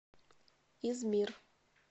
измир